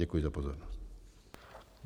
Děkuji za pozornost.